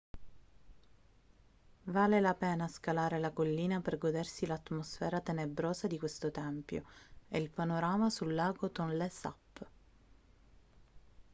vale la pena scalare la collina per godersi l'atmosfera tenebrosa di questo tempio e il panorama sul lago tonlé sap